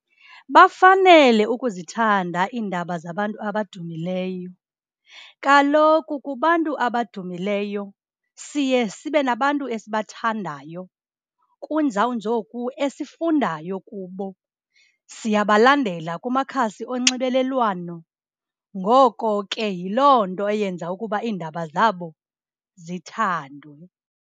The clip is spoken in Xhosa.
Bafanele ukuzithanda iindaba zabantu abadumileyo. Kaloku kubantu abadumileyo siye sibe nabantu esibathandayo, kunjawunjoku esifundayo kubo. Siyabalandela kumakhasi onxibelelwano, ngoko ke, yiloo nto eyenza ukuba iindaba zabo zithandwe.